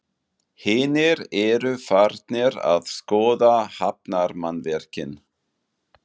Hinir eru farnir að skoða hafnarmannvirkin.